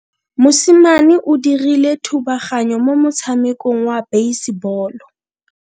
Mosimane o dirile thubaganyo mo motshamekong wa basebolo.